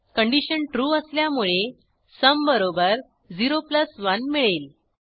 condition true असल्यामुळे sum बरोबर 0 1 मिळेल